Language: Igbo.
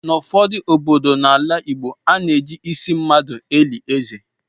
N'ụfọdụ obodo n'ala Igbo, ana eji ịsị mmadụ eli ézè.